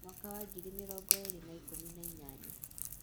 Mwaka wa ngiri mĩrongo ĩĩrĩ na ikũmi na inyanya: